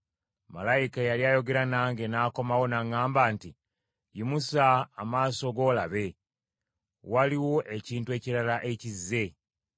Malayika eyali ayogera nange n’akomawo n’aŋŋamba nti, “Yimusa amaaso go olabe, waliwo ekintu ekirala ekizze.”